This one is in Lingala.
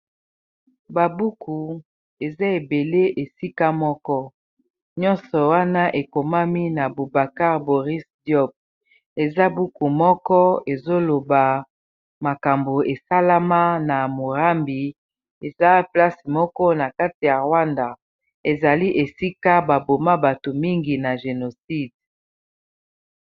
Ba buku eza ebele esika moko nyonso wana ekomami na Bubacar Boris Job eza buku moko ezoloba makambo esalama na morambi eza place moko na kati ya Rwanda ezali esika ba boma bato mingi na génocide.